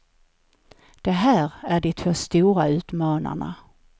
Det här är de två stora utmanarna.